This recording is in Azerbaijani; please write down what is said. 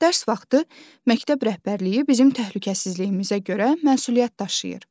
Dərs vaxtı məktəb rəhbərliyi bizim təhlükəsizliyimizə görə məsuliyyət daşıyır.